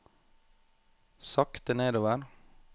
sakte nedover